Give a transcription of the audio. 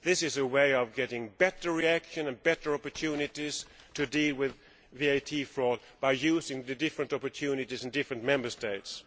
This is a way of getting better reaction and better opportunities to deal with VAT fraud by using the different opportunities in different Member States.